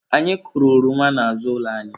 Anyị kụrụ oroma n'azụ ụlọ anyị.